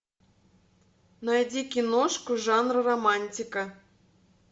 найди киношку жанра романтика